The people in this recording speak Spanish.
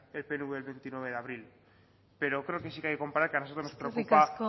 el pnv el veintinueve de abril pero creo que sí que hay que comparar que a nosotros nos preocupa